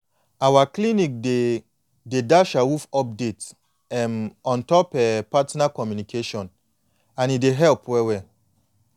our clinic dey dey dash awoof update um ontop um partner communication and e dey help well well